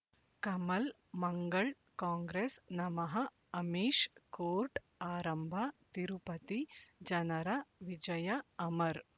ಕಮಲ್ ಮಂಗಳ್ ಕಾಂಗ್ರೆಸ್ ನಮಃ ಅಮಿಷ್ ಕೋರ್ಟ್ ಆರಂಭ ತಿರುಪತಿ ಜನರ ವಿಜಯ ಅಮರ್